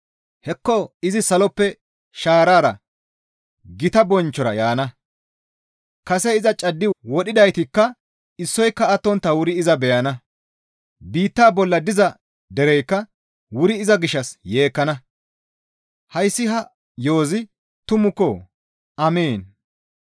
Hekko izi saloppe shaarara gita bonchchora yaana; kase iza caddi wodhidaytikka issoyka attontta wuri iza beyana; biitta bolla diza dereykka wuri iza gishshas yeekkana. Hayssi ha yo7ozi tumukko! Amiin.